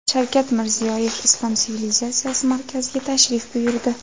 Shavkat Mirziyoyev Islom sivilizatsiyasi markaziga tashrif buyurdi.